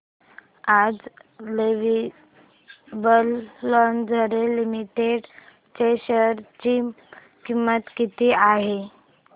आज Lovable Lingerie Limited च्या share ची किंमत किती आहे